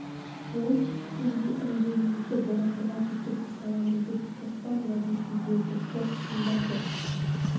жол түскенде інгеніңізді борандыға жеткізіп саламын деп қоспан уәдесін берді жоқ шың да жоқ